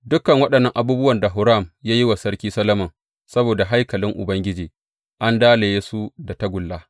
Dukan waɗannan abubuwan da Huram ya yi wa Sarki Solomon saboda haikalin Ubangiji, an dalaye su da tagulla.